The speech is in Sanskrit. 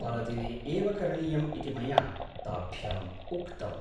परदिने एव करणीयम् इति मया ताभ्याम् उक्तम्।